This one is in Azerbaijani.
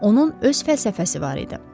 Onun öz fəlsəfəsi var idi.